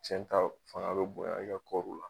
Cɛnta fanga be bonya e kɔruw la